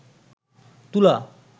তুলা